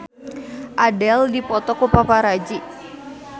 Adele dipoto ku paparazi